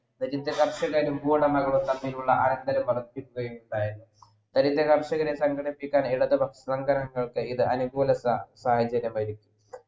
ദരിദ്ര തമ്മിലുള്ള അനന്തരം ഉണ്ടായിരുന്നു ദരിദ്ര കർഷകരെ സംഘടിപ്പിക്കാൻ ഇടതു പക്ഷ അനികുല സാഹചര്യമായിരുന്നു